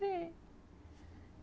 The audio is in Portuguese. Sim.